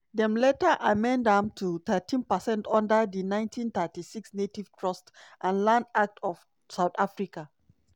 dem later amend am to 13 percent under di 1936 native trust and land act of south africa.